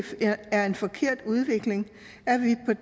er en forkert udvikling